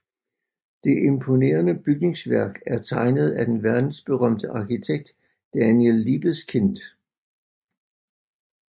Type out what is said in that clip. Det imponerende bygningsværk er tegnet af den verdensberømte arkitekt Daniel Liebeskind